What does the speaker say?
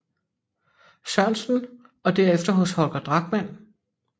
Sørensen og derefter hos Holger Drachmann